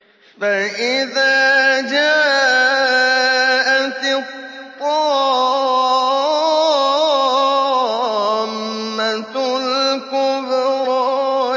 فَإِذَا جَاءَتِ الطَّامَّةُ الْكُبْرَىٰ